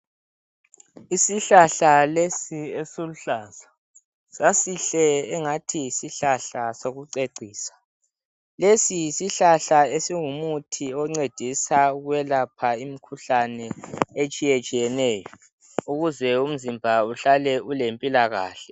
Isihlahla lesi esiluhlaza, sasihle engathi ngesokucecisa. Lesi yisihlahla esingumuthi oncedisa ukwelapha imikhuhlane itshiyetshiyeneyo, ukuze umzimba uhlale ulempilakahle.